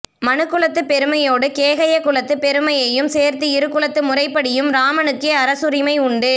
மனுகுலத்துப் பெருமையோடு கேகய குலத்துப் பெருமையையும் சேர்த்து இரு குலத்து முறைப்படியும் இராமனுக்கே அரசுரிமை உண்டு